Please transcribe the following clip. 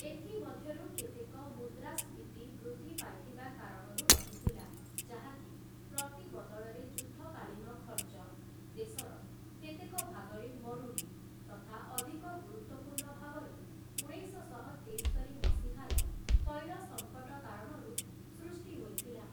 ଏଥିମଧ୍ୟରୁ କେତେକ ମୁଦ୍ରାସ୍ଫୀତି ବୃଦ୍ଧି ପାଇଥିବା କାରଣରୁ ରହିଥିଲା, ଯାହାକି ପ୍ରତିବଦଳରେ ଯୁଦ୍ଧକାଳୀନ ଖର୍ଚ୍ଚ, ଦେଶର କେତେକ ଭାଗରେ ମରୁଡ଼ି ତଥା, ଅଧିକ ଗୁରୁତ୍ଵପୂର୍ଣ୍ଣ ଭାବରେ, ଉଣେଇଶଶହ ତେସ୍ତରି ମସିହାର ତୈଳ ସଙ୍କଟ କାରଣରୁ ସୃଷ୍ଟି ହୋଇଥିଲା ।